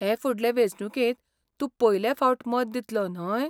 हे फुडले वेंचणुकेंत तूं पयले फावट मत दितलो, न्हय?